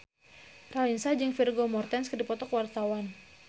Raline Shah jeung Vigo Mortensen keur dipoto ku wartawan